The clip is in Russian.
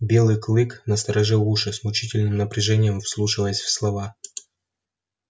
белый клык насторожил уши с мучительным напряжением вслушиваясь в слова